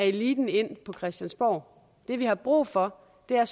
eliten ind på christiansborg det vi har brug for er